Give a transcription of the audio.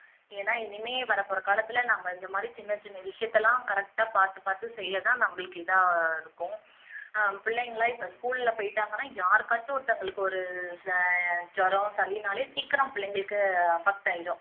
ஏன்னா இனிமே வரப்போற காலத்துல நம்ம இந்த மாதிரி சின்ன சின்ன விஷயத்தை எல்லாம் correct ஆ பாத்து பாத்து செய்யதான் நம்மளுக்கு இதா இருக்கும் ஆஹ் பிள்ளைங்க எல்லாம் இப்போ school ல போயிட்டாங்கன்னா யாருக்காச்சும் ஒருத்தங்களுக்கு ஒரு இப்போ ஜுரம் சளின்னாலே சீக்கிரம் பிள்ளைங்களுக்கு affect ஆயிடும்